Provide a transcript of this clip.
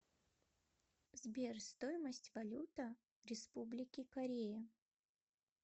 сбер стоимость валюта республики корея